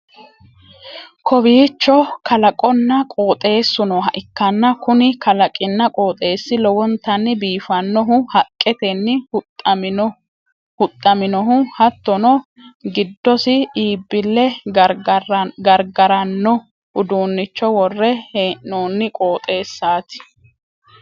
kowiicho kalaqonna qooxeessu nooha ikkanna, kuni kalaqinna qooxeessi lowontanni biifannohu haqqeetenni huxxaminohu hattono, giddosi iibbille gargaranno uduunnicho worre hee'noonni qooxeessaati.